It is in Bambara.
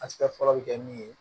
Asika fɔlɔ bɛ kɛ min ye